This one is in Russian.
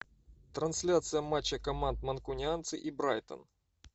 трансляция матча команд манкунианцы и брайтон